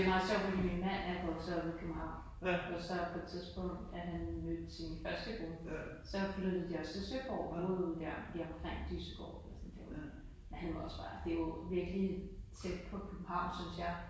Det meget sjovt fordi min mand er vokset op i København og så på et tidspunkt da han mødte sin første kone så flyttede de også til Søborg området der lige omkring Dyssegård eller sådan derude men han var også bare det jo virkelig tæt på København synes jeg